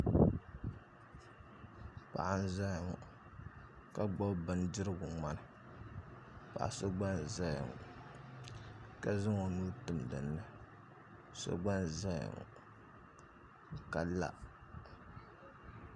Paɣa n-zaya ŋɔ ka gbubi bindirigu ŋmani paɣ' so gba n-zaya ŋɔ ka zaŋ o nuu tim dinni so gba n-zaya ŋɔ ka la